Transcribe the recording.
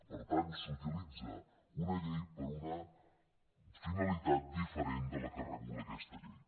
per tant s’utilitza una llei per a una finalitat diferent de la que regula aquesta llei